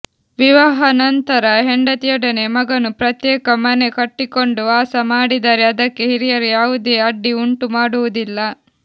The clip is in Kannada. ವಿವಾಹನಂತರ ಹೆಂಡತಿಯೊಡನೆ ಮಗನು ಪ್ರತ್ಯೇಕ ಮನೆ ಕಟ್ಟಿಕೊಂಡು ವಾಸ ಮಾಡಿದರೆ ಅದಕ್ಕೆ ಹಿರಿಯರು ಯಾವುದೇ ಅಡ್ಡಿ ಉಂಟುಮಾಡುವುದಿಲ್ಲ